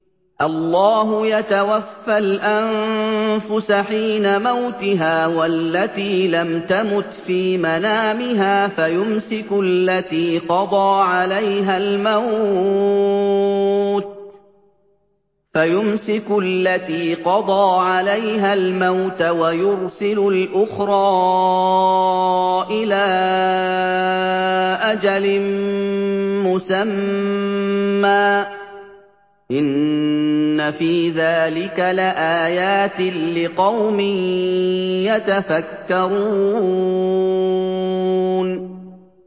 اللَّهُ يَتَوَفَّى الْأَنفُسَ حِينَ مَوْتِهَا وَالَّتِي لَمْ تَمُتْ فِي مَنَامِهَا ۖ فَيُمْسِكُ الَّتِي قَضَىٰ عَلَيْهَا الْمَوْتَ وَيُرْسِلُ الْأُخْرَىٰ إِلَىٰ أَجَلٍ مُّسَمًّى ۚ إِنَّ فِي ذَٰلِكَ لَآيَاتٍ لِّقَوْمٍ يَتَفَكَّرُونَ